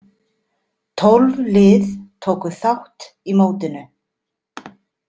Tólf lið tóku þátt í mótinu.